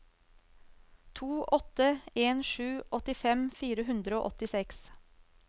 to åtte en sju åttifem fire hundre og åttiseks